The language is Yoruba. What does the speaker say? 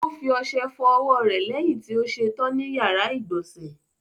O fi ọṣẹ fọ ọwọ́ rẹ̀ lẹ́yìn tí ó ṣe tán ní ìyàrá-ìgbọ̀nsẹ̀.